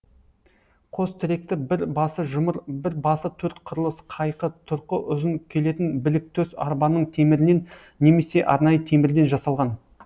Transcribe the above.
қос тіректі бір басы жұмыр бір басы төрт қырлы қайқы тұрқы ұзын келетін біліктөс арбаның темірінен немесе арнайы темірден жасалған